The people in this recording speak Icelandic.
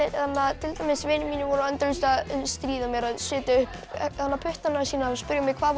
til dæmis vinir mínir voru endalaust að stríða mér að setja upp puttana sína og spurja mig hvað voru